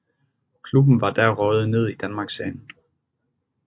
Klubben var da røget ned i Danmarksserien